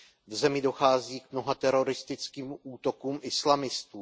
V zemi dochází k mnoha teroristickým útokům islamistů.